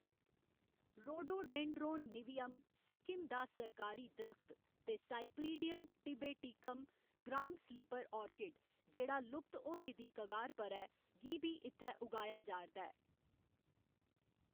Rhododendron niveum, Sikkim दा सरकारी दरख्त, ते cypripedium tibeticum, ground slipper orchid, जेह्‌‌ड़ा लुप्त होने दी कगार पर ऐ, गी बी इत्थै उगाया जा'रदा ऐ।